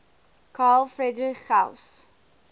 carl friedrich gauss